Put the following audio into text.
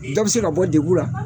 Dɔw bɛ se ka bɔ degun ra.